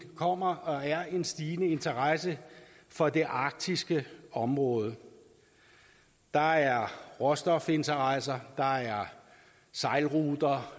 kommer og er en stigende interesse for det arktiske område der er råstofinteresser der er sejlruter